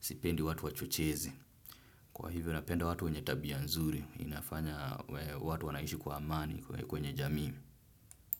Sipendi watu wachochezi. Kwa hivyo napenda watu wenye tabia nzuri. Inafanya watu wanaishi kwa amani kwenye jamii.